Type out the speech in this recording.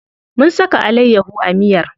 Mun saka alayyaho a miyar.